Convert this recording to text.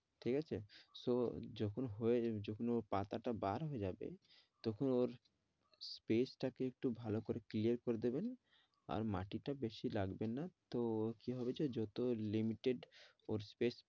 ঠিকআছে so যখন হয়ে যখন ও পাতা টা বার হয়ে যাবে তখন ওর space টা কে একটু ভালো করে clear করা দেবেন আর মাটিটা বেশি লাগবে না তো কি হবে যে যত limited ওর space